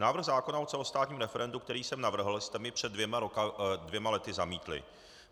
Návrh zákona o celostátním referendu, který jsem navrhl, jste mi před dvěma lety zamítli.